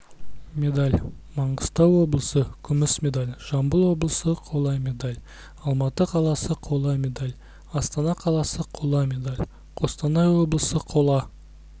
медаль маңғыстау облысы күміс медаль жамбыл облысы қола медаль алматы қаласы қола медаль астана қаласы қола медаль қостанай облысы қола